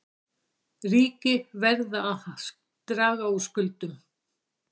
Ríki verða að draga úr skuldum